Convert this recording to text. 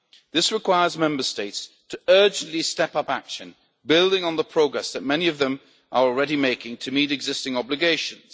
This requires Member States to urgently step up action, building on the progress that many of them are already making to meet existing obligations.